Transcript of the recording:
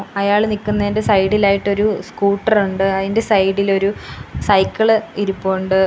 അയാൾ നിക്കുന്നതിന്റെ സൈഡിലായിട്ട് ഒരു സ്കൂട്ടറുണ്ട് അതിന്റെ സൈഡിൽ ഒരു സൈക്കിള് ഇരിപ്പുണ്ട്.